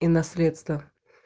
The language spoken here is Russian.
и наследство